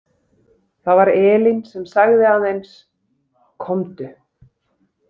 Það var Elín sem sagði aðeins: Komdu.